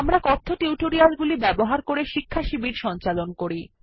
আমরা কথ্য টিউটোরিয়াল গুলি ব্যবহার করে শিক্ষাশিবির সঞ্চালন করি